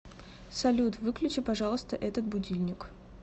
салют выключи пожалуйста этот будильник